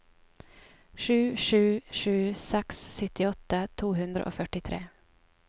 sju sju sju seks syttiåtte to hundre og førtitre